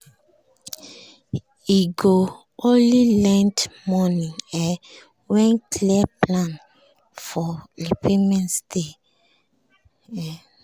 he go only lend money um when clear plan for repayment dey um